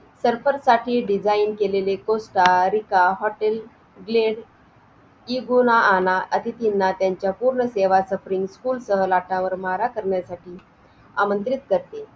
ते रात्री दहा तारखेला आपण लिहून ठेवायचं आणि Bank भरलेल्या जे काय पावत्या असतात त्या stapler करून ठेवायचा म्हणजे आपण एक तारखेपासून त्या महिन्याच्या पैसे account ला जमा .